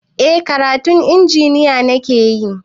Eh karatun injiniya nakeyi